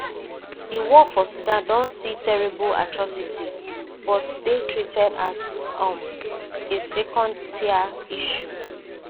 di war for sudan don see terrible atrocities but dey treated as um a secondtier issue